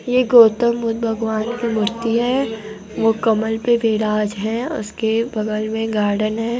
ये गौत्तम बुद्ध भगवान की मूर्ति है वो कमल पे विराज है उसके बगल में गार्डन है।